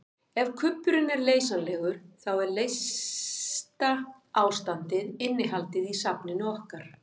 Ef kubburinn er leysanlegur þá er leysta ástandið innihaldið í safninu okkar.